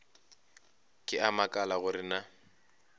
ke a makala gore na